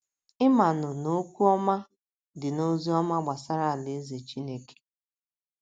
Ị manụ na “ okwu ọma ” dị n’ozi ọma gbasara Alaeze Chineke.